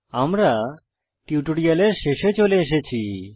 আমরা টিউটোরিয়ালের শেষে চলে এসেছি